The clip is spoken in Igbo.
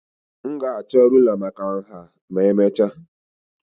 M ga-achọ rụlà maka nha ma emechaa